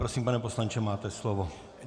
Prosím, pane poslanče, máte slovo.